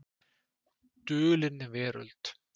Dulin Veröld.